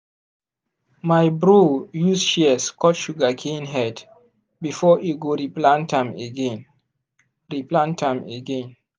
my bro use shears cut sugarcane head before e go replant am again. replant am again.